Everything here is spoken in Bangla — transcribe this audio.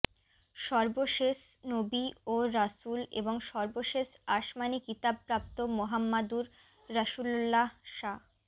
সর্বশেষ নবী ও রাসূল এবং সর্বশেষ আসমানী কিতাব প্রাপ্ত মোহাম্মাদুর রাসূলুল্লাহ সা